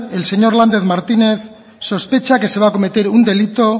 el señor lander martínez sospecha que se va a cometer un delito